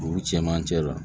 Dugu cɛmancɛ la